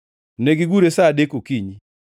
Negigure sa adek okinyi.